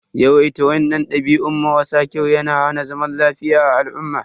Yawaitan wainnan dabi'u mara sa kyau ya na hana zaman lafiya a al'umma.